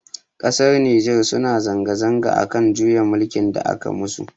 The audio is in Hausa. Ƙasar Nijar suna zanga zanga akan juyin mulkin da aka musu.